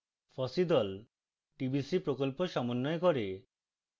fossee the tbc প্রকল্প সমন্বয় করে